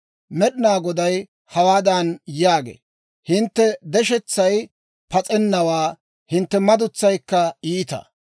Med'inaa Goday hawaadan yaagee; «Hintte deshetsay pas'ennawaa; hintte madutsaykka iita.